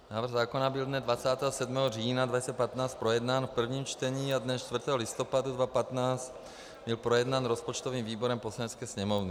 Návrh zákona byl dne 27. října 2015 projednán v prvním čtení a dne 4. listopadu 2015 byl projednán rozpočtovým výborem Poslanecké sněmovny.